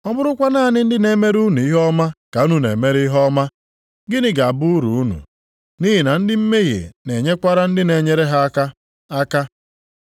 Ọ bụrụkwa naanị ndị na-emere unu ihe ọma ka unu na-emere ihe ọma, gịnị ga-abụ uru unu? Nʼihi na ndị mmehie na-enyekwara ndị na-enyere ha aka aka.